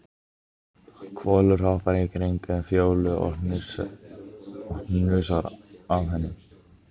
Kolur hoppar í kringum Fjólu og hnusar að henni.